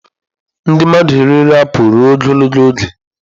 Ndị mmadụ eriela apụl ruo ogologo oge.